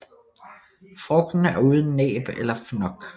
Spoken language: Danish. Frugten er uden næb eller fnok